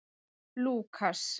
Lúkas